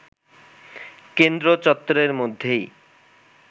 কেন্দ্র চত্বরের মধ্যেই